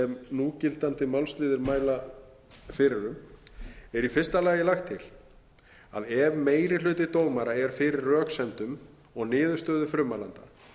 núgildandi málsliðir mæla fyrir um er í fyrsta lagi lagt til að ef meiri hluti dómara er fyrir röksemdum og niðurstöðum frummælanda